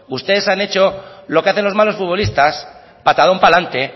ustedes han hecho lo que hacen los malos futbolistas patadón para adelante